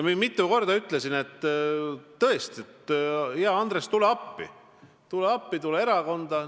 Ma mitu korda ütlesin, et tõesti, hea Andres, tule appi, tule meie erakonda.